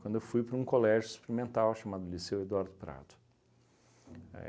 Quando eu fui para um colégio experimental chamado Liceu Eduardo Prato.